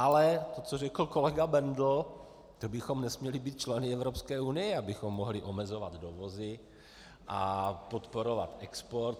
Ale to, co řekl kolega Bendl, to bychom nesměli být členy Evropské unie, abychom mohli omezovat dovozy a podporovat export.